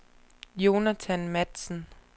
Jonathan Matzen